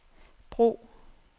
brug